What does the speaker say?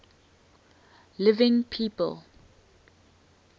living people